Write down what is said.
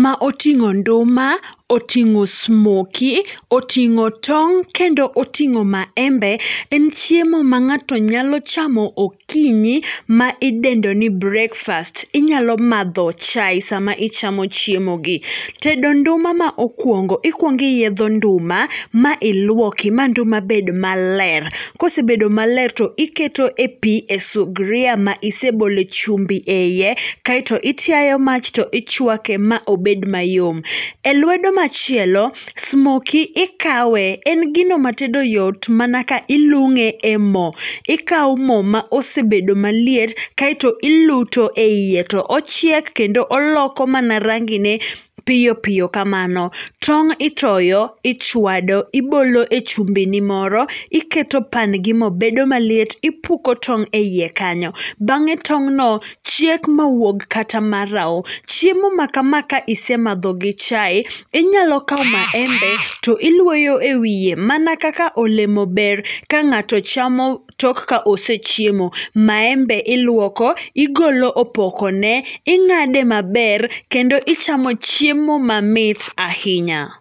ma oting'o nduma, oting'o smokie, oting'o tong', kendo ting'o maembe, en chiemo mang'ato nyalo chamo okinyi, ma idendoni breakfast. Inyalo madho chai sama ichamo chiemogi. Tedo nduma maokuongo, ikuono iyietho nduma, mailuoki, manduma bed maler, kosebedo maler to iketo e pii e sugria ma isebole e chumbi e iye, kaito itiayo mach to ichuake maobed mayom. E lwedo machielo, smokie ikawe, en gino matedo yot mana ka ilung'e e mo, ikao mo maosebedo maliet, kaito iluto eiye to ochiek, kendo oloko mana rangine piyo piyo kamano. Tong' itoyo ichuado, ibolo e chumbini moro, iketo pan, ginobedo maliet, ipuko tong' eiye kanyo. Bang'e tong'no chiek mawuog kata marao. Chiemo makama kaisemadho gi chai, inyalo kao maembe to iluoyo e wie mana kaka olemo ber kang'ato chamo tok ka osechiemo. Maembe iluoko, igolo opokone, ing'ade maber, kendo ichamo chiemo mamit ahinya.